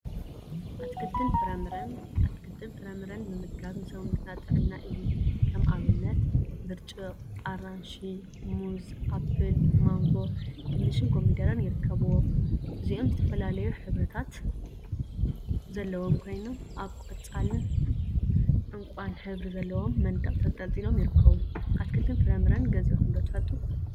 አትክልትን ፍራፍረን አትክልትን ፍራፍረን ምምጋብ ንሰውነትና ጥዕና እዩ፡፡ ከም አብነት ብርጭቅ፣ አራንሺ፣ ሙዝ፣ አፕል ማንጎ፣ ድንሽንኮሚደረን ይርከቡዎም፡፡ እዚኦም ዝተፈላለዩ ሕብሪታት ዘለዎም ኮይኖም፤ አብ ቆፃልን ዕንቋን ሕብሪ ዘለዎ መንደቅ ተንጠልጢሎም ይርከቡ፡፡ አትክልትን ፍራፍረን ገዚእኩም ዶ ትፈልጡ?